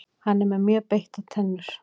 Hann er með mjög beittar tennur.